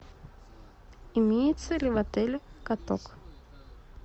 имеется ли в отеле каток